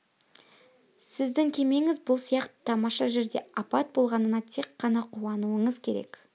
сіздің кемеңіз бұл сияқты тамаша жерде апат болғанына тек қана қуануыңыз керек